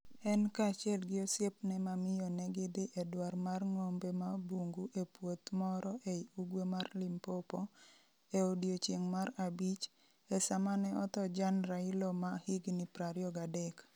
En kaachiel gi osiepne ma miyo ne gidhi e dwar mar ng'ombe ma bungu e puoth moro ei ugwe mar Limpopo, e odiechieng' mar abich, e sama ne otho Jan Railo ma jahigni 23.